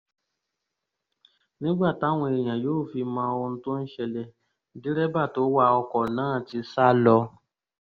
nígbà táwọn èèyàn yóò fi mọ ohun tó ń ṣẹlẹ̀ dírẹ́bà tó wa ọkọ̀ náà ti sá lọ